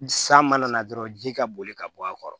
San mana na dɔrɔn ji ka boli ka bɔ a kɔrɔ